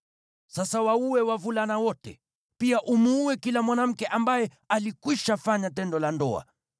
Sasa waue wavulana wote. Pia muue kila mwanamke ambaye alikwisha fanya tendo la ndoa,